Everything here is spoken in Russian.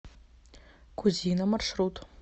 кузина маршрут